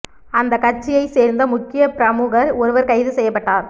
அந்தக் கட்சியைச் சேர்ந்த முக்கிய பிரமுகர் ஒருவர் கைது செய்யப்பட்டார்